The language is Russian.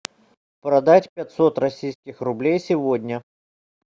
продать пятьсот российских рублей сегодня